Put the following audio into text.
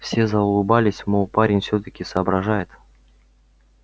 все заулыбались мол парень всё-таки соображает